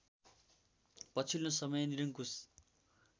पछिल्लो समय निरंकुश